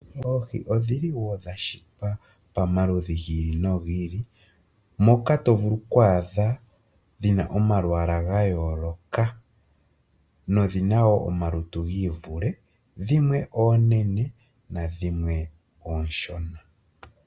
Oohi odhili wo dhashitwa pamaludhi giili nogili , moka tovulu okwaadha dhina omalwaala gayooloka nenge omalutu giivule, dhimwe oonene nadhimwe oonshona.